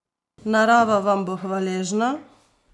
Narava vam bo hvaležna!